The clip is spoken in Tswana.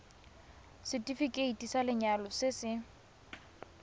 setefikeiti sa lenyalo se se